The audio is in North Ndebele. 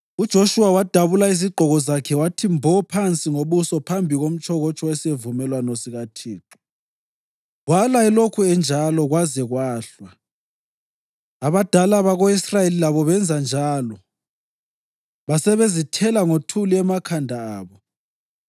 UJoshuwa wadabula izigqoko zakhe wathi mbo phansi ngobuso phambi komtshokotsho wesivumelwano sikaThixo, wala elokhu enjalo kwaze kwahlwa. Abadala bako-Israyeli labo benza njalo, basebezithela ngothuli emakhanda abo.